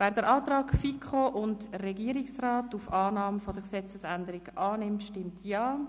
Wer den Antrag von FiKo und Regierungsrat auf Annahme der Gesetzesänderung annimmt, stimmt Ja.